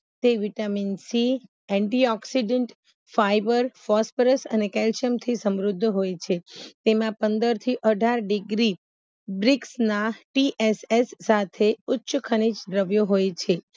તે vitamin C Anti oxidant phosphorus અને calcium થી સમૃદ્ધ હોય છે તેમાં પંદરથી અઢાર ડીગ્રી ના TSS સાથે ઉચ ખનીજ દ્રવ્યો હોય છે